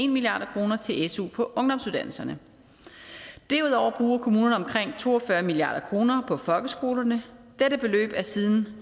milliard kroner til su på ungdomsuddannelserne derudover bruger kommunerne omkring to og fyrre milliard kroner på folkeskolerne dette beløb har siden